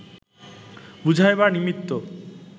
বুঝাইবার নিমিত্ত